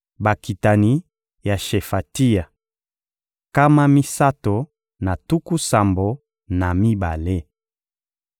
Bakitani ya Shefatia: nkama misato na tuku sambo na mibale.